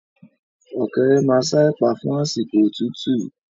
Ọ̀kẹ́rẹ́ maa ṣa ẹ̀pà fún àsìkò òtútú